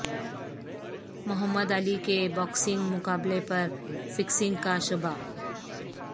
محمد Ali کے boxing مقابلے پر فکسنگ کا شبہ